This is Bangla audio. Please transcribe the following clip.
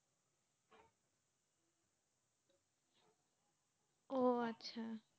ও আচ্ছা